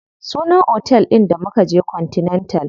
Sunan otel ɗin da mukaje continental.